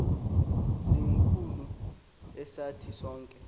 likhulu esathi sonke